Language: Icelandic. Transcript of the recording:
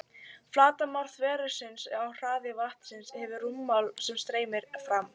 Flatarmál þversniðsins og hraði vatnsins gefur rúmmál sem streymir fram.